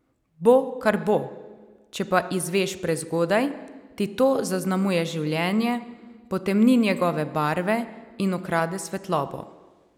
Bo, kar bo, če pa izveš prezgodaj, ti to zaznamuje življenje, potemni njegove barve in ukrade svetlobo.